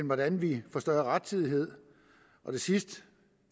hvordan vi får større rettidighed det sidste